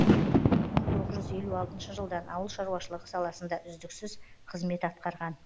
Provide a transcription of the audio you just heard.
мың тоғыз жүз елу алтыншы жылдан ауыл шаруашылығы саласында үздіксіз қызмет атқарған